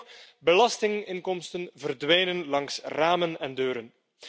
Sterker nog belastinginkomsten verdwijnen langs ramen en deuren.